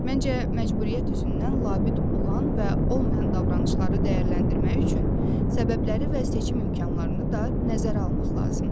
Məncə məcburiyyət üzündən labüd olan və olmayan davranışları dəyərləndirmək üçün səbəbləri və seçim imkanlarını da nəzərə almaq lazımdır.